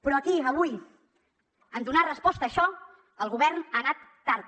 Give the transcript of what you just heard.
però aquí avui en donar resposta a això el govern ha anat tard